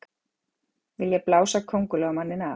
Vilja blása Kóngulóarmanninn af